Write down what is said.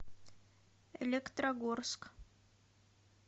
электрогорск